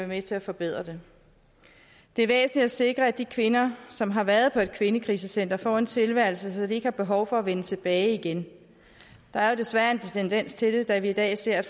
med til at forbedre det det er væsentligt at sikre at de kvinder som har været på et kvindekrisecenter får en tilværelse så de ikke har behov for at vende tilbage igen der er jo desværre en tendens til det da vi i dag ser